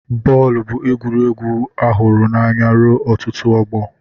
Bọọlụ bụ egwuregwu a hụrụ n'anya ruo ọtụtụ ọgbọ.